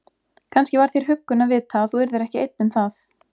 Kannski var þér huggun að vita að þú yrðir ekki einn um það.